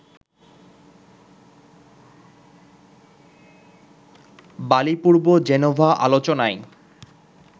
বালিপূর্ব Geneva আলোচনায়